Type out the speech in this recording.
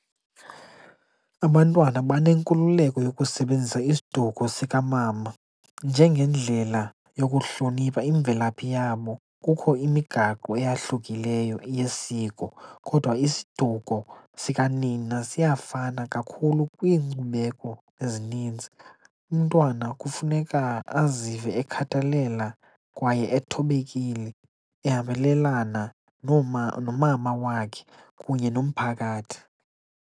Abantwana banenkululeko yokusebenzisa isiduko sikamama njengendlela yokuhlonipha imvelaphi yabo. Kukho imigaqo eyahlukileyo yesiko kodwa isiduko sikanina siyafana kakhulu kwiinkcubeko ezininzi. Umntwana kufuneka azive ekhathalela kwaye ethobekile, ehambelelana nomama wakhe kunye nomphakathi.